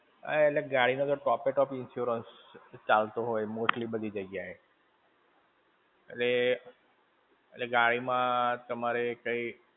હા એટલે ગાડી માં ટોપે top insurance ચાલતો હોય, mostly બધી જગ્યા એ. અરે, અરે, ગાડી માં તમારે કંઈ.